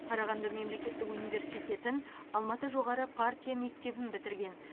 қарағанды мемлекеттік университетін алматы жоғары партия мектебін бітірген